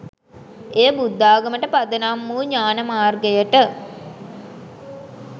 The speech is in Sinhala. එය බුද්ධාගමට පදනම් වූ ඥාණ මාර්ගයට